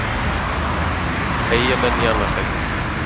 Eyjamenn í annað sætið